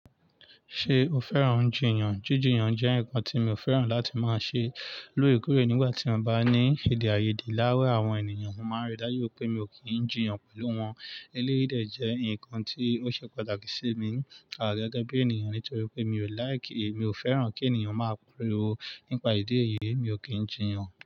Ṣé o fẹ́ràn jíjìyàn? Jíjìyàn jẹ́ nǹkan tí mi ò fẹ́ràn láti máa ṣe lóòrèkóòrè nígbà tí a bá ní éde-àyéde láàárín àwọn ènìyàn. Mo máa rí dájú wípé mi ò kí ń jìyàn pẹ̀lú wọn. Eléyìí dẹ̀ jẹ́ ǹkan tí ó ṣe pàtàkì sí mi, à gẹ́gẹ́ bí ènìyàn nítorí pé mi ò like, mi ò fẹ́ràn kí ènìyàn máa pirorọ̀ nípa ìdí èyí, mi ò kí ń jìyàn.